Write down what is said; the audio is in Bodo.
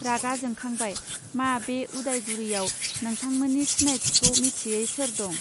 रागा जोंखांबाय मा बे उदायगुरियाव नोंथांमोननि सिनायथिखौ मिथियै सोर दं